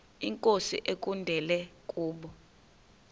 inkosi ekulindele kubo